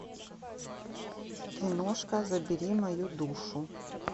киношка забери мою душу